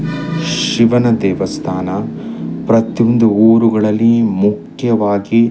ಶಿವನ ದೇವಸ್ಥಾನ ಪ್ರತಿಯೊಂದು ಊರುಗಳಲ್ಲಿ ಮುಖ್ಯವಾಗಿ --